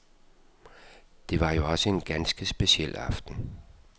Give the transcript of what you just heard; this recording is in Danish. Det var jo også en ganske speciel aften.